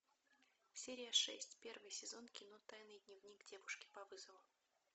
серия шесть первый сезон кино тайный дневник девушки по вызову